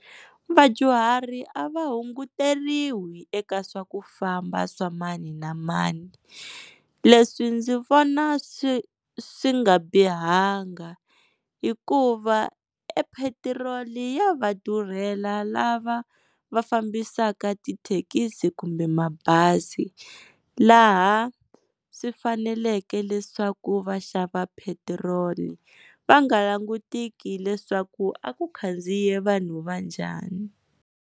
Vadyuhari a va hunguteriwi eka swa ku famba swa mani na mani, leswi ndzi vona swi swi nga bihanga hikuva e petiroli ya va durhela lava va fambisaka tithekisi kumbe mabazi, laha swi faneleke leswaku va xava petiroli va nga langutiki leswaku a ku khandziyile vanhu va njhani.